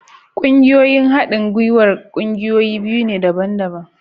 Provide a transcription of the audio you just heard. Ƙungiyoyin haɗin gwiwar ƙungiyoyi biyu ne daban-daban